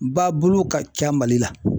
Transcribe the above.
Ba bulu ka ca Mali la.